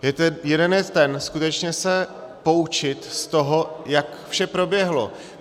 Jeden je ten, skutečně se poučit z toho, jak vše proběhlo.